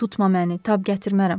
Tutma məni, tab gətirmərəm.